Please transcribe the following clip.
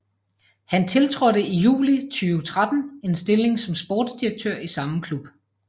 Han tiltrådte i juli 2013 en stilling som sportsdirektør i samme klub